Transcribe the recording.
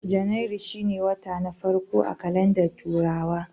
Janairu shine wata na farko a kalandar turawa